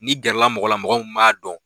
Ni gɛrɛla mɔgɔ la mɔgɔ min b'a dɔn